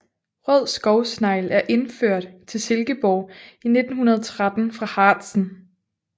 Rød skovsnegl er indført til Silkeborg i 1913 fra Harzen